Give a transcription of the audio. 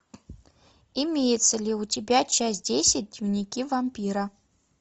имеется ли у тебя часть десять дневники вампира